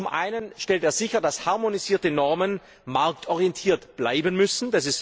Zum einen stellt er sicher, dass harmonisierte Normen marktorientiert bleiben müssen.